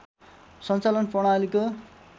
सञ्चालन प्रणालीको